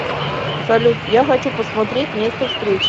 салют я хочу посмотреть место встречи